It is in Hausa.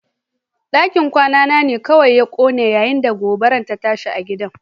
Dakin kwana ne kawai ya kone yayin da gobarar ta tashi a gidan